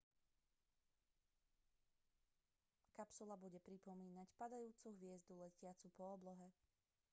kapsula bude pripomínať padajúcu hviezdu letiacu po oblohe